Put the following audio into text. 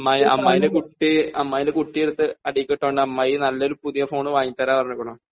അമ്മായി, അമ്മായീന്റെ കുട്ടി, അമ്മായീന്റെ കുട്ടി എടുത്ത് അടീലിക്ക് ഇട്ട കൊണ്ട് അമ്മായി നല്ലൊരു പുതിയ ഒരു ഫോൺ വാങ്ങി തരാം എന്ന് പറഞ്ഞേക്കണു.